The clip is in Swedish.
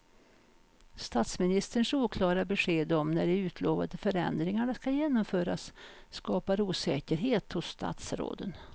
Statsministerns oklara besked om när de utlovade förändringarna ska genomföras skapar osäkerhet hos statsråden.